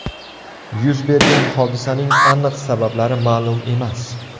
Yuz bergan hodisaning aniq sabablari ma’lum emas.